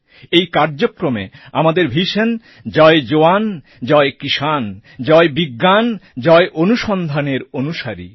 এই কার্যক্রম আমাদের ভিশন জয় জওয়ান জয় কিষান জয় বিজ্ঞান জয় অনুসন্ধানএর অনুসারী